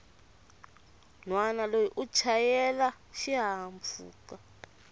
nhwana loyi u chayela xihahampfhuka